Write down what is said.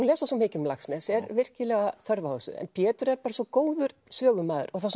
lesa svo mikið um Laxness er virkilega þörf á þessu en Pétur er bara svo góður sögumaður og það